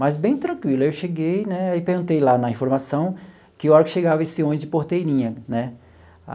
Mas bem tranquilo, aí eu cheguei né e perguntei lá na informação que hora que chegava esse ônibus de Porteirinha né.